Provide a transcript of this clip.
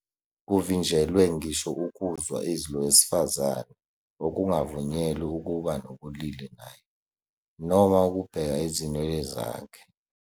Kuvinjelwe ngisho ukuzwa izwi lowesifazane okungavunyelwe ukuba nobulili naye, noma ukubheka izinwele zakhe.